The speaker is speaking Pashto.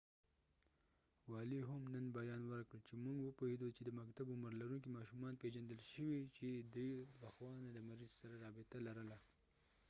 والي هم نن بیان ورکړ چې موږ وپوهیدو چې د مکتب عمر لرونکې ماشومان پیژندل شوي چې دوي د پخوا نه د مریض سره رابطه لرله